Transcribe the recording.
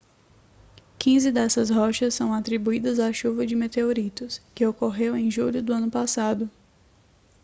quinze dessas rochas são atribuídas à chuva de meteoritos que ocorreu em julho do ano passado